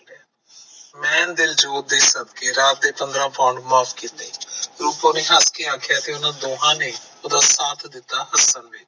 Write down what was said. ਮੈਂ ਦਿਲਜੀਤ ਦੇ ਸਦਕੇ ਰਾਤ ਦੇ ਪੰਦਰਾ pound ਮਾਫ ਕੀਤੇ ਰੂਪੋ ਨੇ ਹੱਸ ਕੇ ਆਖਿਆ ਤੇ ਉਹਨਾਂ ਦੋਹਾਂ ਨੇ ਉਹਦਾ ਸਾਥ ਦਿੱਤਾ ਹਸਨ ਵਿਚ